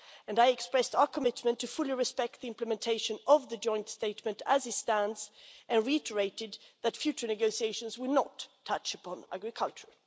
I expressed our commitment fully to respect the implementation of the joint statement as it stands, and reiterated that future negotiations would not touch upon agriculture.